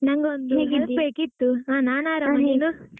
ನಂಗೊಂದು ಬೇಕಿತ್ತು, ಹಾ ನಾನು ಆರಾಮ, ನೀನು?